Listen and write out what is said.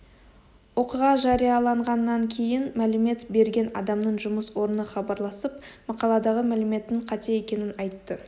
оқиға жарияланғаннан кейін мәлімет берген адамның жұмыс орны хабарласып мақаладағы мәліметтің қате екенін айтты